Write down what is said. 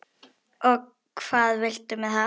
Og hvað viltu með það?